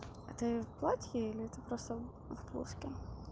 а ты в платье или ты просто в блузке